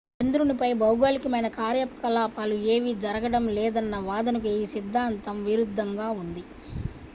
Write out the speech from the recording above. చంద్రునిపై భౌగోళికమైన కార్యకలాపాలు ఏమీ జరగడం లేదన్న వాదనకు ఈ సిద్ధాంతం విరుద్ధంగా ఉంది